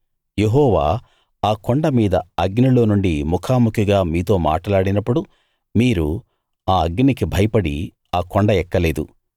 యెహోవా ఆ కొండ మీద అగ్నిలో నుండి ముఖాముఖిగా మీతో మాటలాడినప్పుడు మీరు ఆ అగ్నికి భయపడి ఆ కొండ ఎక్కలేదు